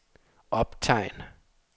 optegn